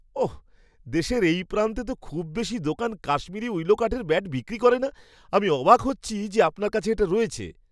ওঃ! দেশের এই প্রান্তে তো খুব বেশি দোকান কাশ্মীরি উইলো কাঠের ব্যাট বিক্রি করে না। আমি অবাক হচ্ছি যে আপনার কাছে এটা রয়েছে।